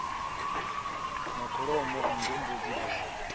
na kholomo nngu mbudzi bere